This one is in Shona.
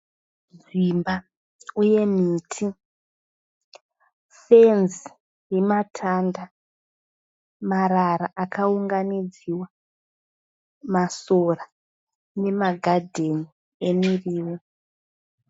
Imba uye miti, fenzi yematanda, marara akaunganidziwa , masora nemagadheni emirivo.